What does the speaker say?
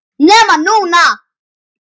NEMA NÚNA!!!